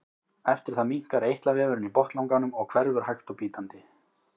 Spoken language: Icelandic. eftir það minnkar eitlavefurinn í botnlanganum og hverfur hægt og bítandi